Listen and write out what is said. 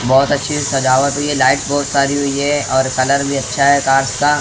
बहोत अच्छी सजावट हुई है। लाइट्स बहुत सारी हुई है और कलर भी अच्छा है कार्स का।